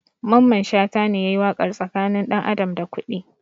Mamman shata ne yayi waƙar tsakanin ɗan adam da kuɗi